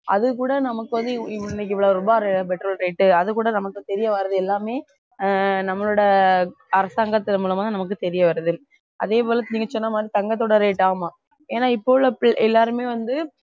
அதுகூட நமக்கு வந்து இவ்~ இன்னைக்கு இவ்வளவு ரூபாய் அஹ் petrol rate அதுகூட நமக்கு தெரிய வர்றது எல்லாமே ஆஹ் நம்மளோட அரசாங்கத்தின் மூலமா நமக்கு தெரிய வருது அதே போல நீங்க சொன்ன மாதிரி தங்கத்தோட rate ஆமா ஏன்னா இப்போ உள்ள பிள்~ எல்லாருமே வந்து